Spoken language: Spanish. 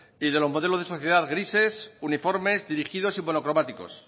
y de los modelos de sociedad grises uniformes dirigidos y monocromáticos